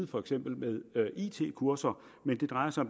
for eksempel it kurser men det drejer sig